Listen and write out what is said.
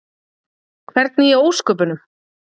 Hvernig í ósköpunum?